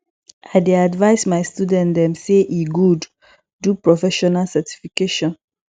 i dey advice my student dem sey e good do professional certification